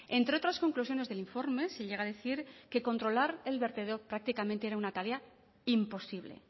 entre otras conclusiones del informe se llegar a decir que controlar el vertedero prácticamente era una tarea imposible